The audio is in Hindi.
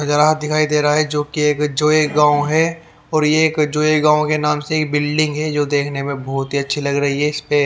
दिखाई दे रहा है जो कि एक जोए गांव है और ये एक जोए गांव के नाम से एक बिल्डिंग है जो देखने में बहुत ही अच्छी लग रही है इसमें --